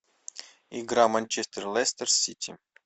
игра манчестер лестер сити